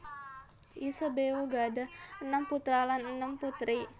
Isabeau gadhah enem putra lan enem putri